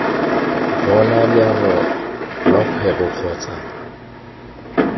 bona leano lwa kgwebo kgotsa